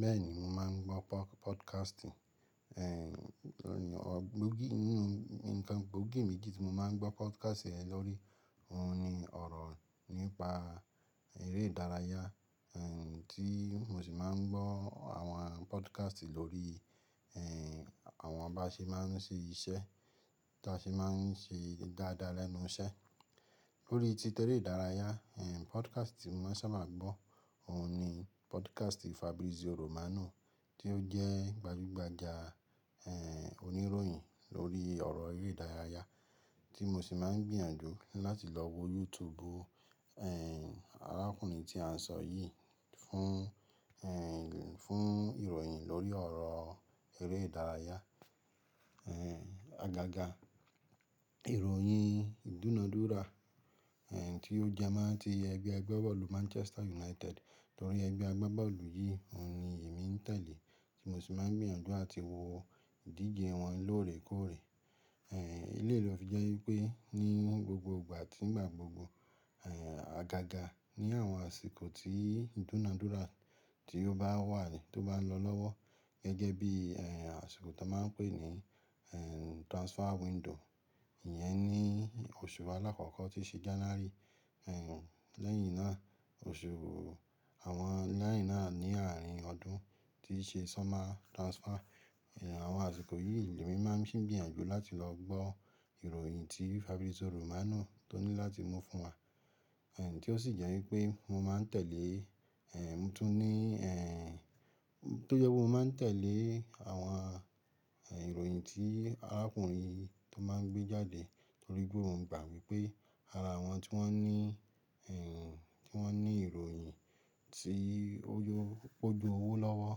Bẹ́ẹ̀ni, mo máa ń gbọ́ podcasting. Gbogí, nínú nkan gbogí méjì tí mo máa ń gbọ́ podcast lórí òun ni ọ̀rọ̀ nípa eré ìdárayá, tí mo sì máa ń gbọ́ àwọn podcast lórí àwọn bá ṣe máa ń ṣe iṣẹ́ tí a ṣe máa ń ṣe dáadáa lẹ́nu iṣẹ́. Lórí títeré ìdárayá, podcast tí mo máa n ṣàba gbọ́, òun ni podcast Fabrizio Romano tí ó jẹ́ gbajúgbajà oníròyìn lórí ọ̀rọ̀ eré ìdárayá tí mo sì máa ń gbìyànjú láti lọ wo YouTube arákùnrin tí à ń sọ yìí fún fún ìròyìn lórí ọ̀rọ̀ eré ìdárayá. Agaga ìròyìn ìdúnadúrà tí ó jẹ́ mó ti ẹgbẹ́ ẹgbẹ́ bọ́ọ̀lù Manchester United torí ẹgbẹ́ ẹgbẹ́ bọ́ọ̀lù yìí òun ni èmi ń tẹ̀lé tí mo sì máa ń gbìyànjú àti wo ìdíje wọn lóòrè kóòrè. Eléyìí ló fi jẹ́ wípé ní gbogbo ìgbà tí ìgbà gbogbo agaga ní àwọn àsìkò tí ìdúnadúrà tí ó bá wà ni tó bá ń lọ lọ́wọ́ gẹ́gẹ́ bí àsìkò tí a máa ń pè ní transfer window, ìyẹn ni oṣù alákọ̀ọ́kọ́ tí ṣe January lẹ́yìn náà oṣù àwọn lẹ́yìn náà ní àárín ọdún tí ṣe summer transfer. Àwọn àsìkò yìí ni èmi máa ń ṣì gbìyànjú láti lọ gbọ́ ìròyìn tí Fabrizio Romano tó ní láti mú fún wa. Tí ó sì jẹ́ wípé mo máa ń tẹ̀lé mo tún ní tó jẹ́ pé mo máa ń tẹ̀lé àwọn ìròyìn tí arákùnrin tó máa ń gbé jáde torí pé mo gbà wípé ara àwọn tí wón ní tí wón ní ìròyìn tí ó ju, ó ju owó lọ́wọ́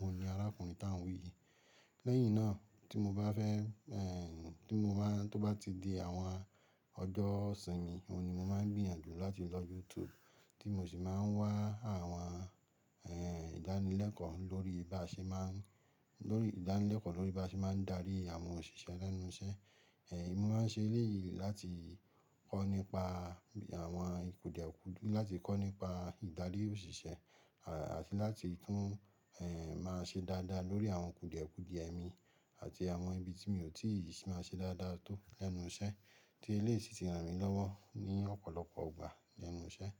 òun ni arákùnrin tá ń wí yìí. Lẹ́yìn náà tí mo bá fẹ́ tí mo bá tó bá ti di àwọn ọjọ́ ìsinmi òun ni mo máa ń gbìyànjú láti lọ YouTube tí mo sì máa ń wá àwọn ìdánilẹ́kọ̀ọ́ lórí bí a ṣe máa ń, lórí ìdánilẹ́kọ̀ọ́ lórí bá ṣe máa ń darí àwọn òṣìṣẹ́ lẹ́nu iṣẹ́. Èmi máa ń ṣe eléyìí láti kọ́ nípa àwọn ikudìọ kúdu láti kọ́ nípa ìdarí òṣìṣẹ́ àti láti tún máa ṣe dáadáa lórí àwọn kùdìẹ̀kùdì ẹ mi àti àwọn ibi tí mi ò tíì sì máa ṣe dáadáa tó lẹ́nu iṣẹ́ tí eléyìí sì ti ràn mí lọ́wọ́ ní ọ̀pọ̀lọpọ̀ ìgbà lẹ́nu iṣẹ́.